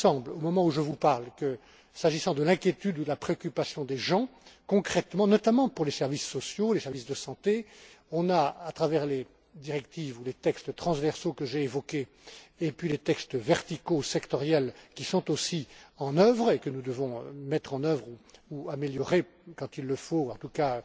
Au moment où je vous parle, s'agissant de l'inquiétude ou de la préoccupation des gens, concrètement, notamment pour les services sociaux, les services de santé, il nous semble que les directives ou les textes transversaux que j'ai évoqués, ainsi que les textes verticaux sectoriels, qui sont aussi en jeu et que nous devons mettre en œuvre, ou améliorer quand il le faut, et en tout cas